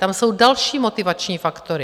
Tam jsou další motivační faktory.